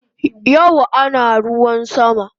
Yau ana ruwan sama